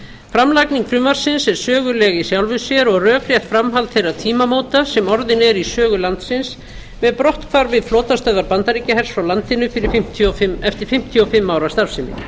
framlagning frumvarpsins er söguleg í sjálfu sér og rökrétt framhald þeirra tímamóta sem orðin eru í sögu landsins með brotthvarfi flotastöðvar bandaríkjahers frá landinu eftir fimmtíu og fimm ára starfsemi